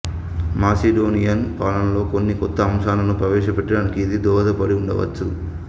Macedonian పాలనలో కొన్ని కొత్త అంశాలను ప్రవేశపెట్టడానికి ఇది దోహదపడి ఉండవచ్చు